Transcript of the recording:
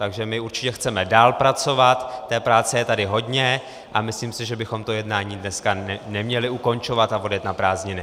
Takže my určitě chceme dál pracovat, té práce je tady hodně a myslím si, že bychom to jednání dneska neměli ukončovat a odjet na prázdniny.